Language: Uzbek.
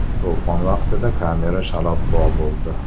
To‘fon vaqtida kamera shalabbo bo‘ldi.